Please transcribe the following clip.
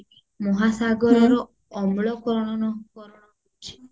ମହାସାଗରର ଅମ୍ଳ କର ହଉଛି